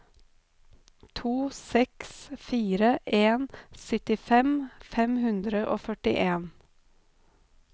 to seks fire en syttifem fem hundre og førtien